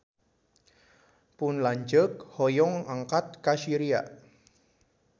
Pun lanceuk hoyong angkat ka Syria